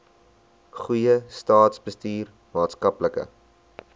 goeie staatsbestuur maatskaplike